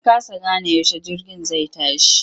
Na kasa gane yaushe jirgin zai tashi.